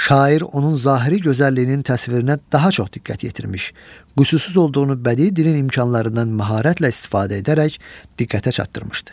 Şair onun zahiri gözəlliyinin təsvirinə daha çox diqqət yetirmiş, qüsursuz olduğunu bədii dilin imkanlarından məharətlə istifadə edərək diqqətə çatdırmışdı.